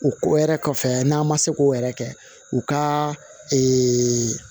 O ko yɛrɛ kɔfɛ n'an ma se k'o yɛrɛ kɛ u ka